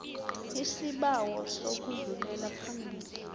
isibawo sokudlulela phambili